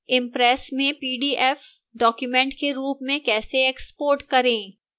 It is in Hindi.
impress में pdf document के रूप में कैसे export करें